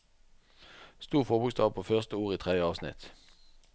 Stor forbokstav på første ord i tredje avsnitt